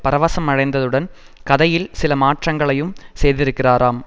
பரவசமடைந்ததுடன் கதையில் சில மாற்றங்களையும் செய்திருக்கிறாராம்